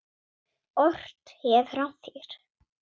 Ort hefur hann fyrr.